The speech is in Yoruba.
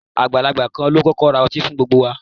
Agbalagba kan lo kọkọ ra ọti fun gbogbo wa